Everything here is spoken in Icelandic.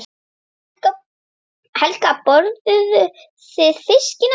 Helga: Borðuðu þið fiskinn áðan?